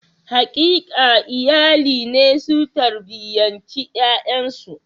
Haƙƙin iyali ne su tarbiyanci ƴaƴansu.